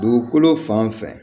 Dugukolo fan o fɛ